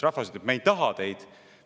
Rahvas ütleb: "Me ei taha teid.